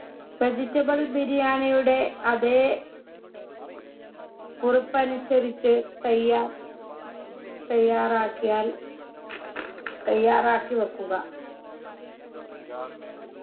vegetable ബിരിയാണിയുടെ അതെ കുറിപ്പനുസരിച്ച് തയ്യാർ തയ്യാറാക്കിയാൽ തയ്യാറാക്കി വെക്കുക